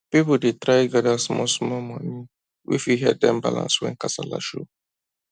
people dey try gather small small money wey fit help dem balance when [kasala] show